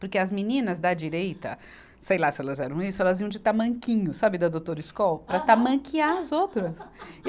Porque as meninas da direita, sei lá se elas eram isso, elas iam de tamanquinho, sabe, da doutora scholls, para tamanquear as outras.